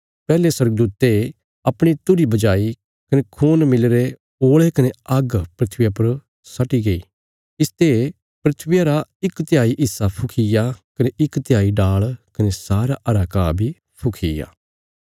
पैहले स्वर्गदूते अपणी तुरही बजाई कने खून मिलीरे ओल़े कने आग्ग धरतिया पर सट्टि गई इसते धरतिया रा इक तिहाई हिस्सा फुखीग्या कने इक तिहाई डाल़ कने सारा हरा घा बी फुखीग्या